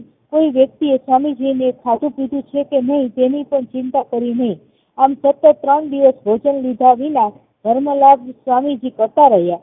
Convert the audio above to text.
કોઈ વ્યક્તિએ સ્વામીજીએ કે ખાધું પીધું છે કે નાય તેની પણ ચિંતા કરી નહિ અને સતત ત્રણ દિવસ ભોજન લીધા વિના ધર્મ લાપ સ્વામીજી કરતા રહ્યા